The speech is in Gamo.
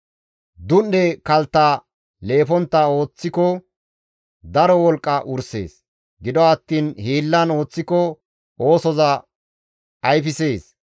Dun7e kaltta leefontta ooththiko daro wolqqa wursees; gido attiin hiillan ooththiko oosoza ayfisees.